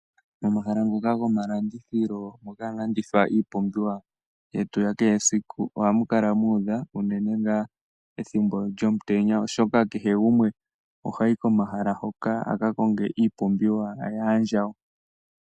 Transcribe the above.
Momahala moka gomalandithilo moka hamu landithwa iipumbiwa yetu yakehe esiku ohamu kala muudha uunene ngaa ethimbo lyomutenya oshoka kehe gumwe ohayi komahala hoka aka konge iipumbiwa yaandjawo.